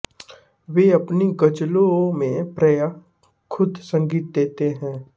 वे अपनी ग़जलों में प्रायः ख़ुद संगीत देते हैं